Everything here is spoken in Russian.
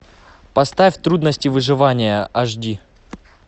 поставь трудности выживания аш ди